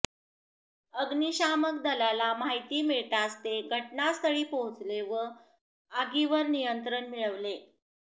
अग्निशामक दलाला माहिती मिळताच ते घटनास्थळी पोहोचले व आगीवर नियंत्रण मिळविले